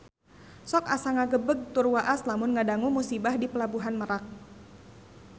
Sok asa ngagebeg tur waas lamun ngadangu musibah di Pelabuhan Merak